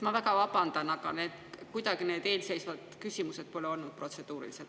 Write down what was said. Ma väga vabandan, aga need eelmised küsimused ei olnud kuidagi protseduurilised.